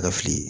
Ka fili